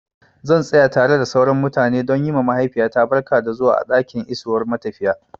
Zan tsaya tare da sauran mutane don yi ma mahaifiyata barka da zuwa a ɗakin isowar matafiya.